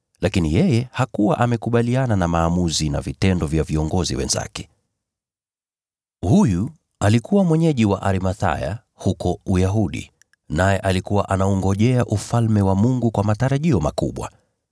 lakini yeye hakuwa amekubaliana na maamuzi na vitendo vya viongozi wenzake. Huyu alikuwa mwenyeji wa Arimathaya huko Uyahudi, naye alikuwa anaungojea Ufalme wa Mungu kwa matarajio makubwa.